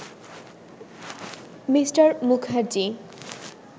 Me. Mukherjee